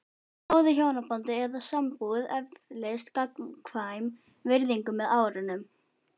Í góðu hjónabandi eða sambúð eflist gagnkvæm virðing með árunum.